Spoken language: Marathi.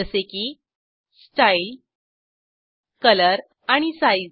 जसे की स्टाईल कलर आणि साइझ